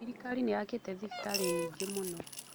Thirikari nĩ yakĩte thibitarĩ nyingĩ mũno.